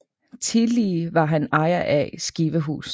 Tillige var han ejer af Skivehus